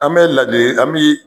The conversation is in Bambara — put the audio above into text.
An bɛ ladili an bɛ